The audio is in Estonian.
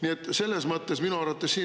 Nii et selles mõttes minu arvates siin …